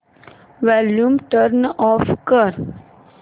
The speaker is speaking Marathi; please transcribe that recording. वॉल्यूम टर्न ऑफ कर